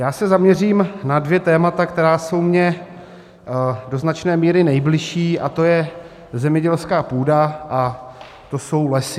Já se zaměřím na dvě témata, která jsou mi do značné míry nejbližší, a to je zemědělská půda a to jsou lesy.